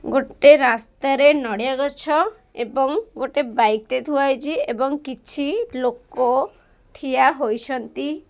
ଗୋଟେ ରାସ୍ତା ରେ ନଡ଼ିଆ ଗଛ ଏବଂ ଗୋଟେ ବାଇକ୍ ଟେ ଥୁଆ ହୋଇଛି ଏବଂ କିଛି ଲୋକ ଠିଆ ହୋଇଛନ୍ତି।